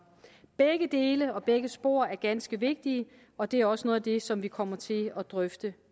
begge dele og begge spor er ganske vigtige og det er også noget af det som vi kommer til at drøfte